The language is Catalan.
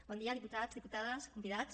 bon dia diputats diputades convidats